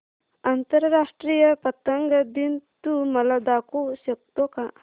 आंतरराष्ट्रीय पतंग दिन तू मला दाखवू शकतो का